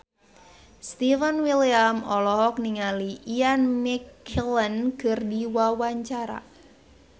Stefan William olohok ningali Ian McKellen keur diwawancara